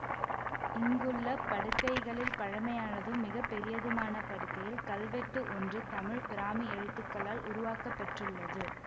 இங்குள்ள படுக்கைகளில் பழமையானதும் மிகப்பெரியதுமான படுக்கையில் கல்வெட்டு ஒன்று தமிழ் பிராமி எழுத்துக்களால் உருவாக்கப்பெற்றுள்ளது